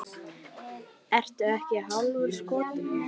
Ertu ekki hálfur skoti?